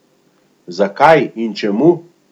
Zakaj in čemu?